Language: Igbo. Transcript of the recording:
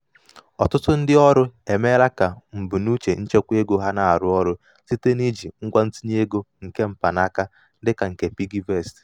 ọtụtụ ndị ọrụ emeela ka mbunuche nchekwa ego ha na-arụ ọrụ site n'iji ngwa ntinye ego nke mpanaka dịka um nke nke piggyvest.